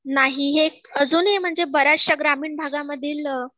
नाही, हे अजूनही म्हणजे बऱ्याच श्या ग्रामीण भागामधील